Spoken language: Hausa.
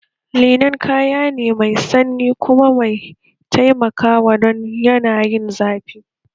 Linen kaya ne mai sanyi kuma mai taimakawa don yanayin zafi